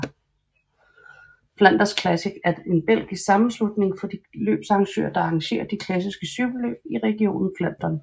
Flanders Classics er en belgiske sammenslutning for de løbsarrangører der arrangere de klassiske cykelløb i regionen Flandern